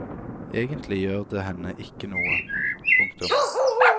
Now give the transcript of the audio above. Egentlig gjør det henne ikke noe. punktum